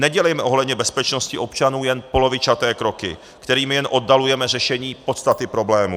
Nedělejme ohledně bezpečnosti občanů jen polovičaté kroky, kterými jen oddalujeme řešení podstaty problému.